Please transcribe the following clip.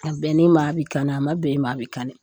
A bɛnn'i ma a bɛ kani a ma bɛn i ma a bɛ kani